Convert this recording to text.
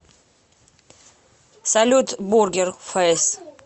салют бургер фэйс